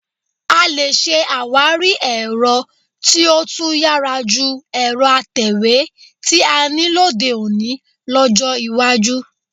A lè ṣe àwárí ẹ̀rọ tí ó tún yára ju ẹ̀rọ atẹ̀wé tí a ní lóde òní lọ́jọ́ iwájú